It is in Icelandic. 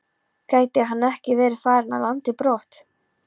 Gæti hann ekki verið farinn af landi brott?